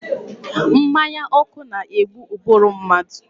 Mmanya ọkụ na-egbu ụbụrụ mmadụ.